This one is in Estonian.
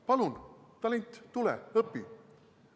Palun, talent, tule ja õpi!